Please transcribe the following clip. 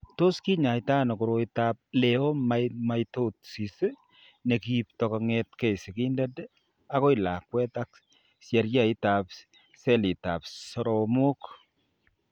Tos kinyaita ano koroitoab Leiomyomatosis ne kiipto kong'etke sigindet akoi lakwet ak seriatab selitab soromok?